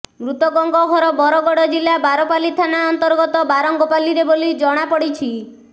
ମୃତକଙ୍କ ଘର ବରଗଡ ଜିଲ୍ଲା ବାରପାଲି ଥାନା ଅନ୍ତର୍ଗତ ବାରଙ୍ଗପାଲିରେ ବୋଲି ଜଣାପଡିଛି